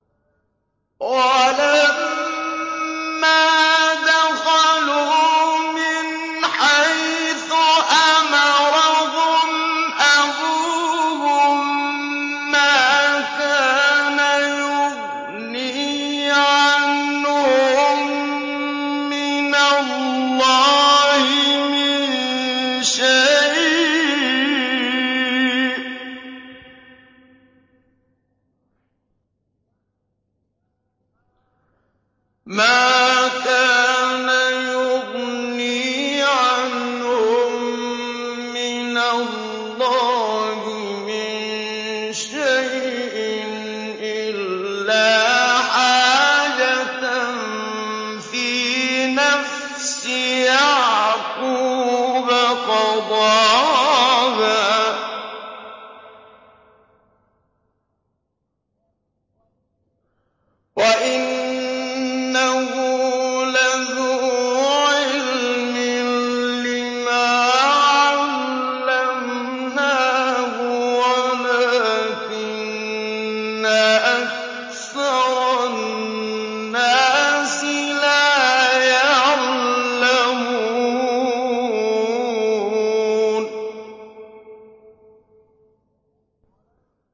وَلَمَّا دَخَلُوا مِنْ حَيْثُ أَمَرَهُمْ أَبُوهُم مَّا كَانَ يُغْنِي عَنْهُم مِّنَ اللَّهِ مِن شَيْءٍ إِلَّا حَاجَةً فِي نَفْسِ يَعْقُوبَ قَضَاهَا ۚ وَإِنَّهُ لَذُو عِلْمٍ لِّمَا عَلَّمْنَاهُ وَلَٰكِنَّ أَكْثَرَ النَّاسِ لَا يَعْلَمُونَ